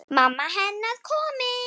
Mamma hennar komin.